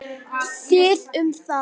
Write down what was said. Þið um það!